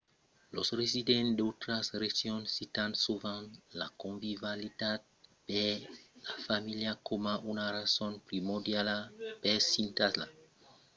los residents d'autras regions citan sovent la convivialitat per la familha coma una rason primordiala per s'i installar e los visitaires tròban sovent que la vila es de bon profechar amb d'enfants